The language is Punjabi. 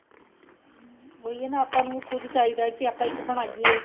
ਹਮ ਉਹੀ ਏ ਨਾ ਆਪਾਂ ਨੂੰ ਖੁਦ ਚਾਹੀਦਾ ਕੀ ਆਪਾਂ ਇੱਕ ਬਣਾਈਏ